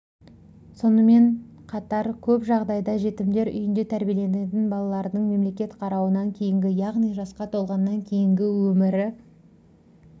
соынмен қатар көп жағдайда жетімдер үйінде тәрбиеленетін балалардың мемлекет қарауынан кейінгі яғни жасқа толғаннан кейінгі өмірі